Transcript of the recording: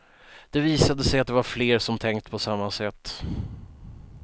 Det visade sig att det var fler som tänkt på samma sätt.